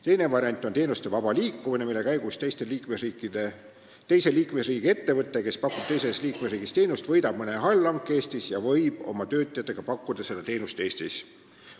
Teine variant on teenuste vaba liikumine: teise liikmesriigi ettevõte, kes pakub teises liikmesriigis teenust, võidab mõne allhanke Eestis ja võib oma töötajatega pakkuda seda teenust Eestis.